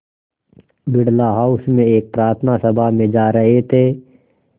Birla house में एक प्रार्थना सभा में जा रहे थे